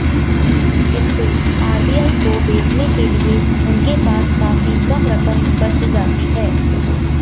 इससे आरबीआई को बेचने के लिए उनके पास काफी कम रकम बच जाती है